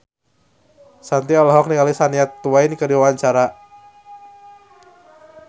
Shanti olohok ningali Shania Twain keur diwawancara